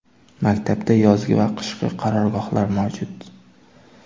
Maktabda yozgi va qishki qarorgohlar mavjud.